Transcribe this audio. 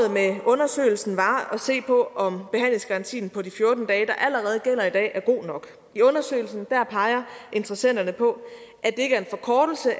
undersøgelsen var at se på om behandlingsgarantien på de fjorten dage der allerede gælder i dag er god nok i undersøgelsen peger interessenterne på